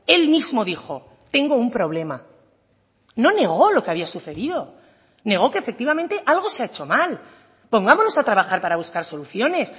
él mismo dijo tengo un problema no negó lo que había sucedido negó que efectivamente algo se ha hecho mal pongámonos a trabajar para buscar soluciones